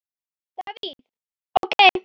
Davíð OK.